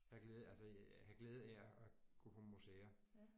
Have glæde altså have glæde af at at gå på museer